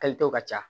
Kalito ka ca